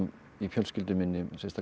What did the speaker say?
í fjölskyldu minni sérstaklega